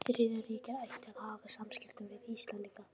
Þriðja ríkið ætti að haga samskiptum við Íslendinga.